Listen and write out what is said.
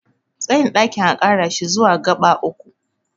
tsayin ɗakin a Kara shi zuwa gaba uku